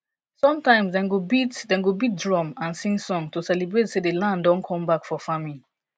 sometimes dem go beat dem go beat drum and sing song to celebrate say the land don come back for farming